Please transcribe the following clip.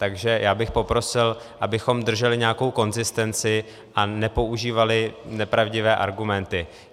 Takže já bych poprosil, abychom drželi nějakou konzistenci a nepoužívali nepravdivé argumenty.